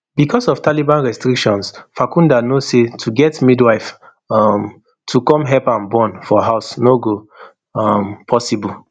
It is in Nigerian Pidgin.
becos of taliban restrictions farkhunda no say to get midwife um to come help am born for house no go um possible